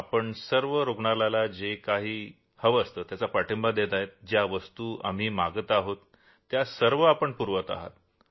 आपण सर्व रूग्णालयाला जो काही पाठिंबा देत आहात ज्या वस्तु आम्ही मागत आहोत त्या सर्व आपण पुरवत आहात